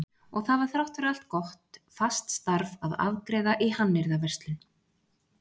Og það var þrátt fyrir allt gott, fast starf að afgreiða í hannyrðaverslun.